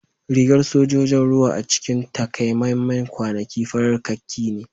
Rigar sojojin ruwa a cikin takamaiman kwanaki farar kakki ne